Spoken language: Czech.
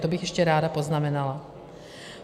To bych ještě ráda poznamenala.